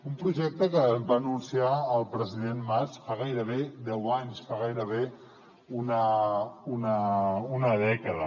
un projecte que va anunciar el president mas fa gairebé deu anys fa gairebé una dècada